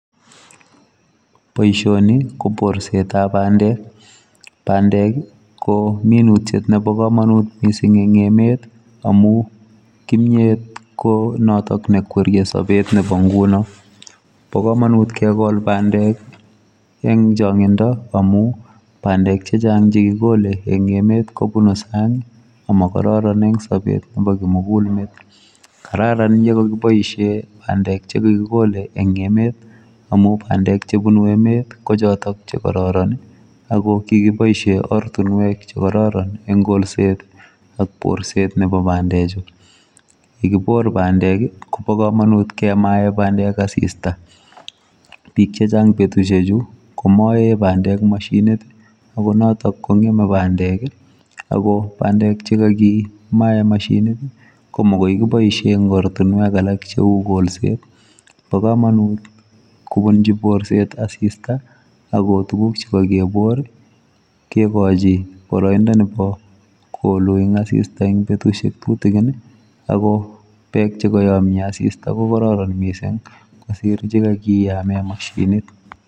Boisioni ko borset ab pandeek pandeek ii. Ko minutiet nebo kamanut missing en emeet amuun kimyeet ii ko noton ne kwerie sabeet nebo ngunoon bo kamanut kegol pandeek eng changindo amuun pandeek chechaang chekikole eng emet kobuun saang ii ama kororoneen eng sabeet nebo kimugul met kararan yaan ye makibaisheen pandeek che kagikole eng emet amuun pandeek chebunu emet ii ko chotoon che kororon ago kikibaishen ortinweek che kororon eng kolset ii ak borset nebo pandeek chuu yekikol pandeek ii Kobo kamanut kemaen pandeek assista, biik kegochiin chechaang betusiek chu ko maen pandeek mashiniit ii ako notoon ko ngemei pandeek ii ako pandeek che kakimaen mashiniit ii ko magoi kibaisheen eng ortinweek alaak che uu borset bo kamanut ole iluuchiin assista eng betusiek tutugiin ii ako Beeg che kayamya ko kororon missing kosiir chekakiyaa en mashiniit.